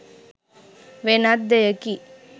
වෙනත් දෙයකි.